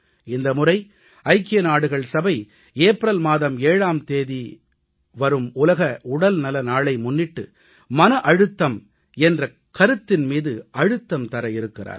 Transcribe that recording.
இந்த முறை ஐக்கியநாடுகள் சபை ஏப்ரல் மாதம் 7ஆம் தேதி வரும் உலக உடல்நல நாளை முன்னிட்டு மன அழுத்தம் என்ற கருத்தின் மீது அழுத்தம் தர இருக்கிறார்கள்